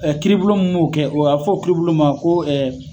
kiiribolo mun kɛ, a bi fɔ o kiibolo ma ko